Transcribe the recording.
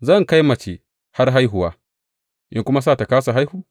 Zan kai mace har haihuwa in kuma sa ta kāsa haihu?